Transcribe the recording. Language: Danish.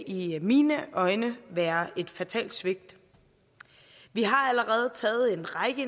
i mine øjne være et fatalt svigt vi har allerede taget en række